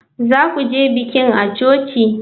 Za ku je bikin a cikin coci?